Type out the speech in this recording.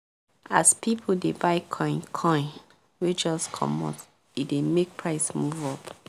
as people dey buy coin coin wey just come out e dey make price move up